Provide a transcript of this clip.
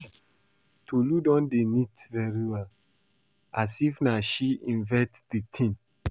Tolu don dey knit very well as if na she invent the thing